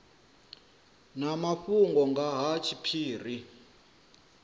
na mafhungo nga ha tshiphiri